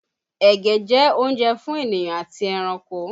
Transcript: Ẹ̀gẹ́ jẹ́ oúnjẹ fún ènìyàn àti ẹranko